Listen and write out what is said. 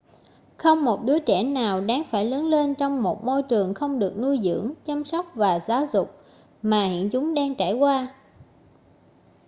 không một đứa trẻ nào đáng phải lớn lên trong một môi trường không được nuôi dưỡng chăm sóc và giáo dục mà hiện chúng đang trải qua